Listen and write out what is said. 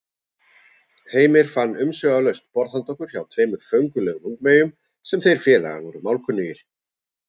Heimir fann umsvifalaust borð handa okkur hjá tveimur föngulegum ungmeyjum sem þeir félagar voru málkunnugir.